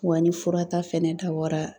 Wa ni fura ta fɛnɛ dabɔra